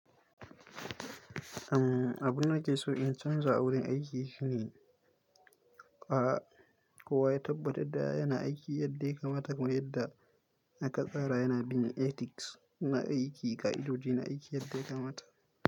Umm, abunda ke so in canza a wurin aiki shine kowa ya tabbatar da yana aiki yadda ya kamata kuma yadda aka tsara, yana bin ethics na aiki da aijoji na aiki yadda ya kamata.